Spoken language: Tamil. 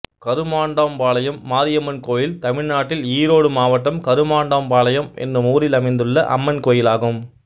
கருமாண்டாம்பாளையம் மாரியம்மன் கோயில் தமிழ்நாட்டில் ஈரோடு மாவட்டம் கருமாண்டாம்பாளையம் என்னும் ஊரில் அமைந்துள்ள அம்மன் கோயிலாகும்